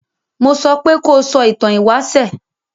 Mo sopé kó sọ ìtan ìwáṣẹ̀!